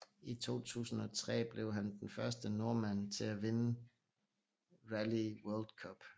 I 2003 blev han den første nordmand til at vinde Rally World Cup